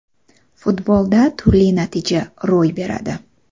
Futbolda turli natija ro‘y beradi.